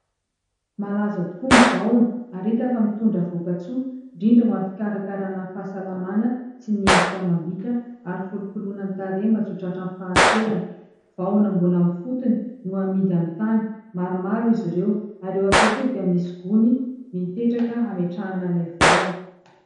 Malaza tokoa ny vahona, ary hita fa mitondra voka-tsoa indrindra ho amin'ny fikarakarana fahasalamana sy ny endrika amam-bika ary fikolokoloana ny tarehy mba tsy ho tratran'ny fahanterana. Vahona mbola amin'ny fotony no amidy amin'ny tany maromaro izy ireo ary eo akaiky eo dia misy gony mipetraka hametrahana ilay vahona.